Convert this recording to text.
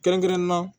Kɛrɛnkɛrɛnnen na